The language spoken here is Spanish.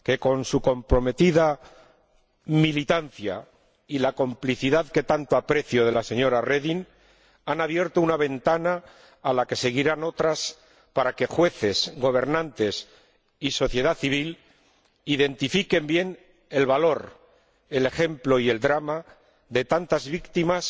con su comprometida militancia y la complicidad que tanto aprecio de la señora Reding, han abierto una ventana a la que seguirán otras para que jueces, gobernantes y sociedad civil identifiquen bien el valor, el ejemplo y el drama de tantas víctimas,